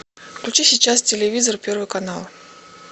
включи сейчас телевизор первый канал